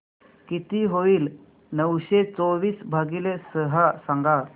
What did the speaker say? किती होईल नऊशे चोवीस भागीले सहा सांगा